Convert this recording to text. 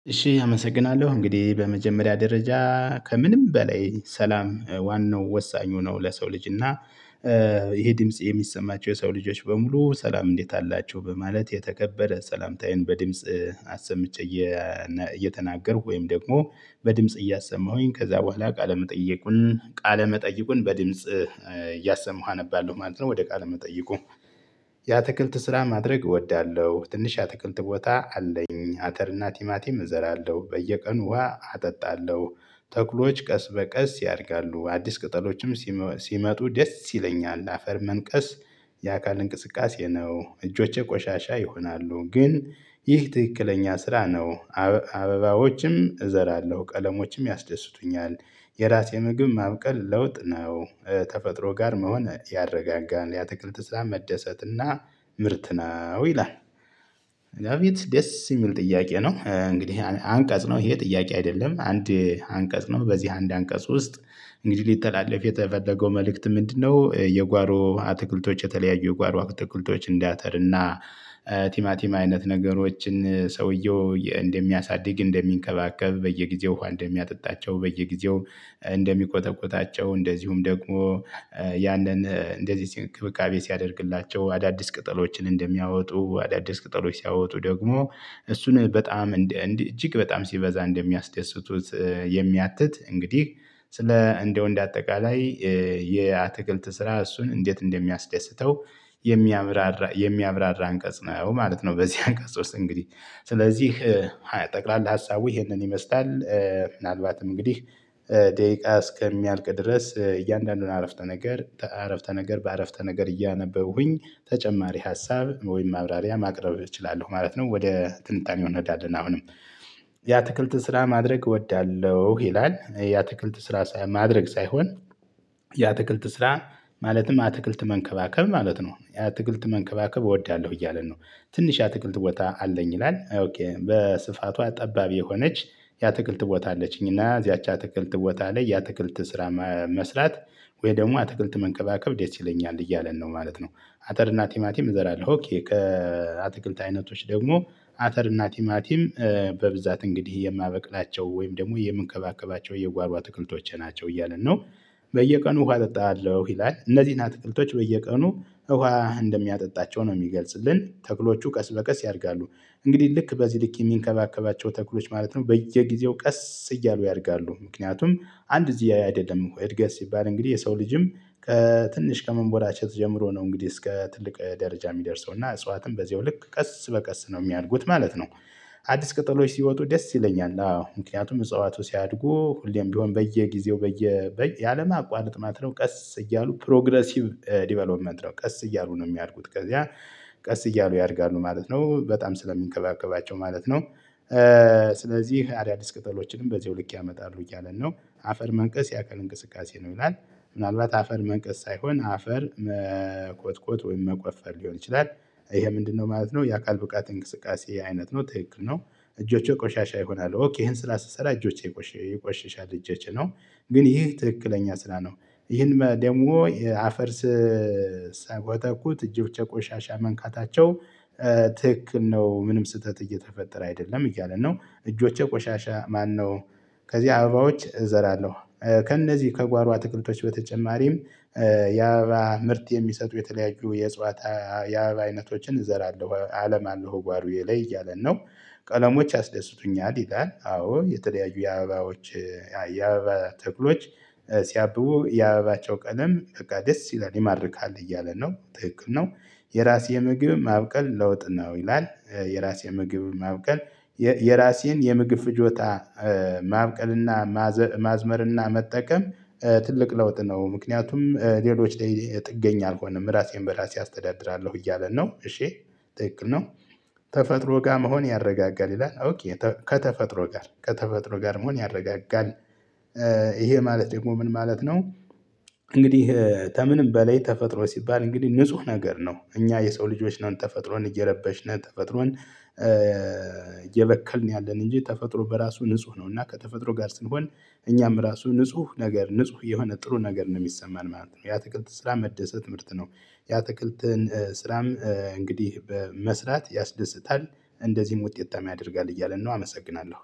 እሺ አመሰግናለሁ እንግዲህ በመጀመሪያ ደረጃ ከምንም በላይ ሰላም ዋናው ወሳኙ ነው ለሰው ልጅ። እና ይሄ ድምጽ የሚሰማቸው የሰው ልጆች በሙሉ ሰላም እንዴት አላቸሁ በማለት የተከበረ ሰላምታዬን በድምጽ አሰምቼ እየተናገርኩ ወይም ደግሞ በድምጽ እያሰማሁኝ ከዛ በኋላ ቃለመጠየቁን ቃለመጠይቁን በድምጽ እያሰማሁ አነባለሁ ማለት ነው። ወደ ቃል መጠየቁ ያአትክልት ስራ ማድረግ እወዳለሁ። ትንሽ የአትክልት ቦታ አለኝ አተር አተር እና ቲማቲም እዘራለሁ። በየቀኑ ውሃ አጠጣለሁ ተክሎች ቀስ በቀስ ያድጋሉ። አዲስ ቅጠሎችም ሲመጡ ደስ ይለኛል። አፈር መንቀስ የአካል እንቅስቃሴ ነው እጆቼ ቆሻሻ ይሆናሉ። ግን ይህ ትክክለኛ ስራ ነው አበባዎችም እዘራለሁ ቀለሞችም ያስደስቱኛል። የራሴ ምግብ ማብቀል ለውጥ ነው። ተፈጥሮ ጋር መሆን ያረጋጋል የአትክልት ስራ መደሰት እና ምርት ነው ይላል። ዳዊት ደስ የሚል ጥያቄ ነው። እንግዲህ አንቀጽ ነው ይሄ ጥያቄ አይደለም አንድ አንቀጽ ነው። በዚህ አንድ አንቀጽ ውስጥ እንግዲህ ሊተላለፍ የተፈለገው መልእክት ምንድነው የጓሮ አትክልቶች የተለያዩ የጓሮ አትክልቶች እንደአተር እና ቲማ አይነት ነገሮችን ሰውየው እንደሚያሳድግ፣ እንደሚንከባከብ፣ በየጊህዜ ውሃ እንደሚያጠጣቸው፣ በየጊዜው እንደሚኮተኩታቸው እንደዚሁም ደግሞ ያንን እንደዚህ እንክብካቤ ሲያደርግላቸው አዳዲስ ቅጠሎችን እንደሚያወጡ አዳዲስ ቅጠሎች ሲያወጡ ደግሞ እሱን በጣም እንዲህ እጅግ በጣም ሲበዛ እንደሚያስደስቱት የሚያትት እንግዲህ ስለ እንደው እንደ አጠቃላይ የአትክልት ስራ እሱን እንዴት እንደሚያስደስተው የሚያብራራ የሚያብራራ አንቀጽ ነው ማለት ነው። በዚህ አንቀጽ ውስጥ እንግዲህ ስለዚህ ጠቅላላ ሀሳቡ ይሄንን ይመስላል። ምናልባትም እንግዲህ ደቂቃ እስከሚያልቅ ድረስ እያንዳንዱን አረፍተ ነገር አረፍተ ነገር በአረፍተ ነገር እያነበብኩኝ ተጨማሪ ሀሳብ ወይም ማብራሪያ ማቅረብ እችላለሁ ማለት ነው። ወደ ትንታኔ እንሄዳለን አሁንም የአትክልት ስራ ማድረግ እወዳለሁ ይላል የአትክልት ስራ ማድረግ ሳይሆን የአትክልት ስራ ማለትም አትክልት መንከባከብ ማለት ነው። አትክልት መንከባከብ እወዳለሁ እያለን ነው። ትንሽ የአትክልት ቦታ አለኝ ይላል። በስፋቷ ጠባብ የሆነች የአትክልት ቦታ አለችኝ እና እዚያች አትክልት ቦታ ላይ የአትክልት ስራ መስራት ወይ ደግሞ አትክልት መንከባከብ ደስ ይለኛል እያለን ነው ማለት ነው። አተር እና ቲማቲም እዘራለሁ። ከአትክልት አይነቶች ደግሞ አተር እና ቲማቲም በብዛት እንግዲህ የማበቅላቸው ወይም ደግሞ የምንከባከባቸው የጓሮ አትክልቶቼ ናቸው እያለን ነው። በየቀኑ ውሃ አጠጣለሁ ይላል። እነዚህን አትክልቶች በየቀኑ ውሃ እንደሚያጠጣቸው ነው የሚገልጽልን። ተክሎቹ ቀስ በቀስ ያድጋሉ። እንግዲህ ልክ በዚህ ልክ የሚንከባከባቸው ተክሎች ማለት ነው በየጊዜው ቀስ እያሉ ያድጋሉ። ምክንያቱም አንድ እዚህ አይደለም እኮ እድገት ሲባል እንግዲህ የሰው ልጅም ከትንሽ ከመንቦላቸት ጀምሮ ነው እንግዲህ እስከ ትልቅ ደረጃ የሚደርሰው። እና እጽዋትም በዚሁ ልክ ቀስ በቀስ ነው የሚያድጉት ማለት ነው። አዲስ ቅጠሎች ሲወጡ ደስ ይለኛል አዎ። ምክንያቱም እጽዋቶች ሲያድጉ ሁሌም ቢሆን በየጊዜው በየ ያለማቋረጥ ማለት ነው ቀስ እያሉ 'ፕሮግረሲቭ ዲቨሎፕመንት' ነው ቀስ እያሉ ነው የሚያድጉት። ከዚያ ቀስ እያሉ ያድጋሉ ማለት ነው። በጣም ስለሚንከባከባቸው ማለት ነው። ስለዚህ አዳዲስ ቅጠሎችንም በዚሁ ልክ ያመጣሉ እያለን ነው። አፈር መንቀስ ያአካል እንቅስቃሴ ነው ይላል ምናልባት አፈር መንቀስ ሳይሆን አፈር መኮትኮት ወይም መቆፈር ሊሆን ይችላል። ይሄ ምንድነው ማለት ነው የአካል ብቃት እንቅስቃሴ አይነት ነው ትክክል ነው። እጆቼ ቆሻሻ ይሆናሉ ኦኬ ይሄን ስራ ስሰራ እጆቼ ይቆሽሻሉ እጆቼ ነው። ግን ይህ ትክክለኛ ስራ ነው ይህን ደግሞ የአፈር ስኮተኩት እጆቼ ቆሻሻ መንካታቸው ትክክል ነው ምንም ስህተት እየተፈጠረ አይደለም እያለ ነው። እጆቼ ቆሻሻ ማነው ከዚህ አበባዎች እዘራለሁ። ከእነዚህ ከጓሮ አትክልቶች በተጨማሪም የአበባ ምርት የሚሰጡ የተለያዩ የእጽዋት አይነቶችን እዘራለሁ አለማለሁ ጓሩዬ ላይ እያለን ነው። ቀለሞች ያስደስቱኛል ይላል። አዎ የተለያዩ የአበባዎች የአበባ ተኩሎች ሲያብቡ የአበባቸው ቀለም በቃ ደስ ይላል ይማርካል እያለ ነው። ትክክል ነው የራሴ ምግብ ማብቀል ለውጥ ነው ይላል። የራሴ ምግብ ማብቀል የራሴን የምግብ ፍጆታ ማብቀልና ማዝመር እና መጠቀም ትልቅ ለውጥ ነው። ምክንያቱም ሌሎች ጥገኛ አልሆንም ራሴን በራሴ አስተዳድራለሁ እያለ ነው እሺ ትክክል ነው። ተፈጥሮ ጋር መሆን ያረጋጋል ይላል ከተፈጥሮ ጋር ከተፈጥሮ ጋር መሆን ያረጋጋል። ይሄ ማለት ደግሞ ምን ማለት ነው እንግዲህ ተምንም በላይ ተፈጥሮ ሲባል እንግዲህ ንጹህ ነገር ነው። እኛ የሰው ልጆች ነን ተፈጥሮን እየረበሽን ተፈጥሮን እየበከልን ያለን እንጂ ተፈጥሮ በራሱ ንጹህ ነው። እና ከተፈጥሮ ጋር ስንሆን እኛም ራሱ ንጹህ ነገር ንጹህ የሆነ ጥሩ ነገር ነው የሚሰማን ማለት ነው። የአትክልት ስራ መደሰት ምርት ነው። የአትክልትን ስራም እንግዲህ በመስራት ያስደስታል እንደዚህም ውጤታማ ያደርጋል እያለን ነው። አመሰግናለሁ።